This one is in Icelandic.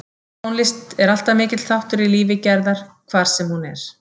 Tónlist er alltaf mikill þáttur í lífi Gerðar hvar sem hún er.